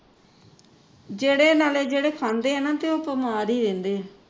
ਜਿਹੜੇ ਨਾਲੇ ਜਿਹੜੇ ਖਾਂਦੇ ਆ ਨਾ ਤੇ ਉਹ ਬਿਮਾਰ ਹੀ ਰਹਿੰਦੇ ਹੈ